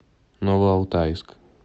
новоалтайск